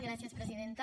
gràcies presidenta